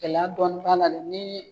Gɛlɛya dɔɔni b'a la dɛ ni